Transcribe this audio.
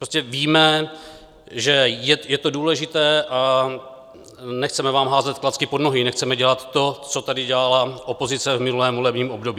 Prostě víme, že je to důležité, a nechceme vám házet klacky pod nohy, nechceme dělat to, co tady dělala opozice v minulém volebním období.